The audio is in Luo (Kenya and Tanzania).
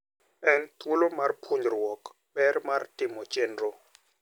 En thuolo mar puonjruok ber mar timo chenro.